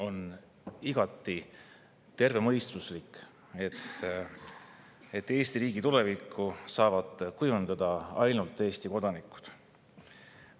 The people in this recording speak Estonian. On igati tervemõistuslik, et Eesti riigi tulevikku saavad kujundada ainult Eesti kodanikud.